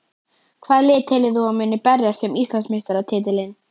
Hvaða lið telur þú að muni berjast um Íslandsmeistaratitilinn?